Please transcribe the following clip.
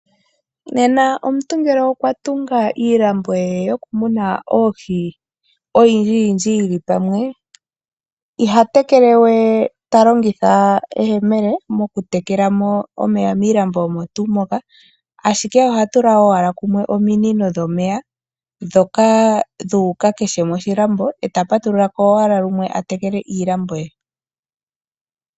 Nena ngele okwa tunga iilambo ye yokumuna oohi oyindjiyindji yi li pamwe, oha tekele we ta longitha eyemele, mokutekela mo omeya miilambo omo tuu moka, ashike oha tula owala kumwe ominino dhomeya ndhoka dhu uke kehe moshilambo, ta patulula ko owala lumwe a tekele iilambo ye.